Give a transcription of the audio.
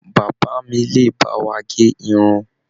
Bàbá mí le bá wà gé irun.